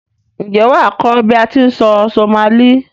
N jé wàá kó bi a ti n sọ Somali